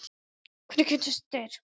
Hvernig kynntust þeir?